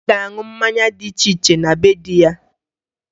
Anyị ga-aṅụ mmanya dị iche iche na be dị ya